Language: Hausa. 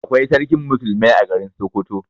Akwai Sarkin musulmai a garin Sokoto.